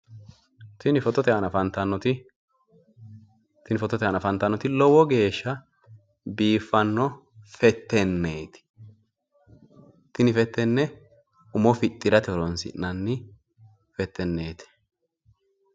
Tini fotote aana afannitanoti lowo geesha biiffano fetenneeti. Tini fettenne umo fixxi'irate horoonsi'nanni fettenneeti.